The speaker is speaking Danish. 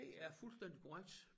Det er fuldstændig korrekt